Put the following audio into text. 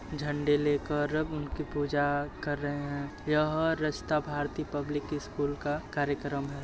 झंडे ले कर अब उनकी पूजा कर रहे हैं| यह रस्ता भारती पब्लिक स्कूल का कार्यकम हैं |